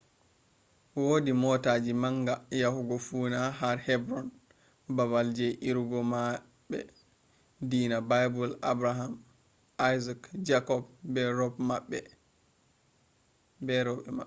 wodi motaji manga yahugo funaa har hebron babal je irugo mahbe dina bible abraham isaac jacob be robe mabbe